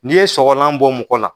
N'i ye sɔgɔlan bɔ mɔgɔ la